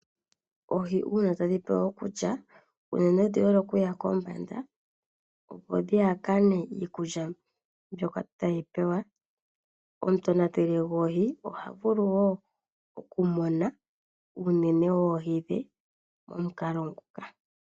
Oohi uuna tadhi pewa okulya, unene odhi hole okuya kombanda opo dhihakane iikulya mbyoka tadhi pewa. Omutonateli goohi oha vulu woo okumuna unene oohi dhe pomukalo nguka.